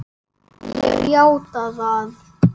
Ég játa það.